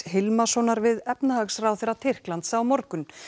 Hilmarssonar við efnahagsráðherra Tyrklands á morgun